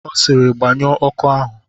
Ọ sịrị, gbanyụọ ọkụ ahụ!